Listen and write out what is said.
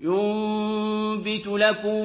يُنبِتُ لَكُم